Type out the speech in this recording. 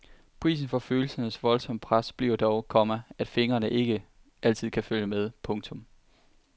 Prisen for følelsernes voldsomme pres bliver dog, komma at fingrene ikke altid kan følge med. punktum